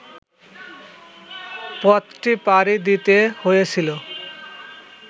পথটি পাড়ি দিতে হয়েছিল